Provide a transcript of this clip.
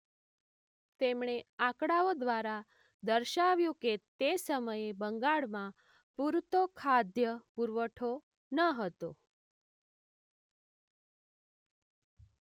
તેમણે આંકડાઓ દ્વારા દર્શાવ્યું કે તે સમયે બંગાળમાં પૂરતો ખાદ્ય પુરવઠો ન હતો.